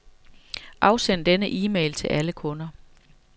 Afsend denne e-mail til alle kunder.